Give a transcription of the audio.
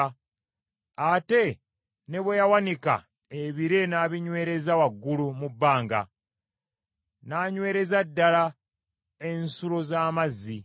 ate ne bwe yawanika ebire n’abinywereza waggulu mu bbanga, n’anywereza ddala ensulo z’amazzi,